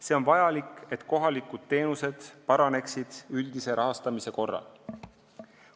See on vajalik, et kohalikud teenused üldise rahastamise korral paraneksid.